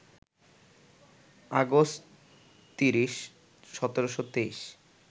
August ৩০, ১৭২৩